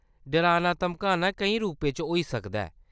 डराना-धमकाना केईं रूपें च होई सकदा ऐ।